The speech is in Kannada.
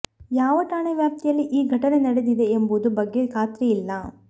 ಯಾವ ಠಾಣೆ ವ್ಯಾಪ್ತಿಯಲ್ಲಿ ಈ ಘಟನೆ ನಡೆದಿದೆ ಎಂಬುದು ಬಗ್ಗೆ ಖಾತ್ರಿಯಾಗಿಲ್ಲ